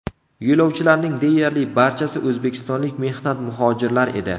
Yo‘lovchilarning deyarli barchasi o‘zbekistonlik mehnat muhojirlar edi.